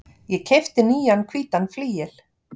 Ég keypti nýjan hvítan flygil.